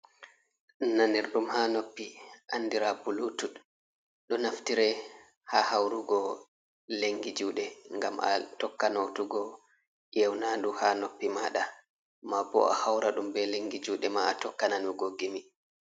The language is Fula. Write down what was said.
Nanirɗum haa noppi, andira bulutut. Ɗo naftire haa haurugo lengi juuɗe, ngam a tokka noutugo yeunandu haa noppi maɗa, ma bo a haura ɗum be lengi juuɗe ma, a tokka nanugo gimi.